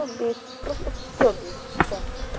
так бесит просто всё бесит всё